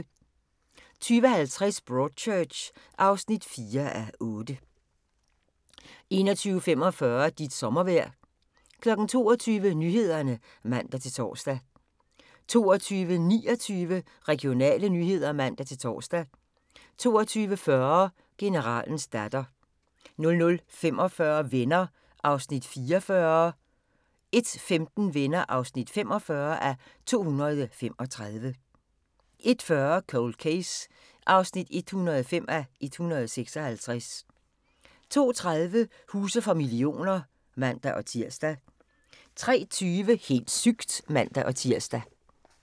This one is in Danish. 20:50: Broadchurch (4:8) 21:45: Dit sommervejr 22:00: Nyhederne (man-tor) 22:29: Regionale nyheder (man-tor) 22:40: Generalens datter 00:45: Venner (44:235) 01:15: Venner (45:235) 01:40: Cold Case (105:156) 02:30: Huse for millioner (man-tir) 03:20: Helt sygt! (man-tir)